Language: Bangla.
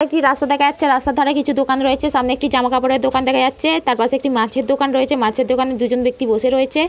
পাশে একটি রাস্তা দেখা যাচ্ছে রাস্তা ধরে কিছু দোকান রয়েছে সামনে একটি জামা কাপড়ের দোকান দেখা যাচ্ছে তার পাশে একটি মাছের দোকান রয়েছে মাছের দোকানের দুজন ব্যক্তি বসে রয়েছে ।